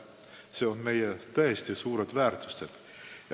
Need on tõesti meie suured väärtused.